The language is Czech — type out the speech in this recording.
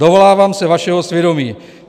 Dovolávám se vašeho svědomí.